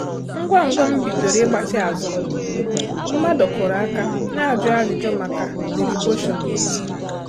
Ngwa ngwa m bidoro ịgbatị azụ m, mmadụ kụrụ aka na-ajụ ajụjụ maka diriboshon n'ezi.